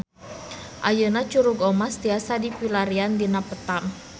Ayeuna Curug Omas tiasa dipilarian dina peta